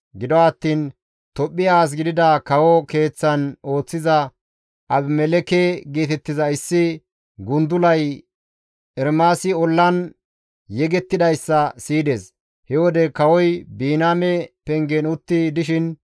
Gido attiin Tophphiya as gidida kawo keeththan ooththiza Abimelekke geetettiza issi gundulay Ermaasi ollan yegettidayssa siyides; he wode kawoy Biniyaame Pengen utti dishin,